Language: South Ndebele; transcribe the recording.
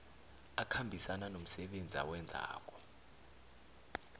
akhambisana nomsebenzi awenzako